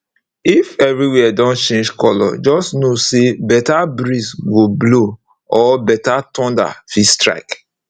if everywhere don change color just know say better breeze go blow or better thunder fit strike